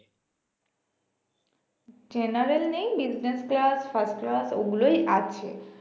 general নেই business class first class ঐগুলোই আছে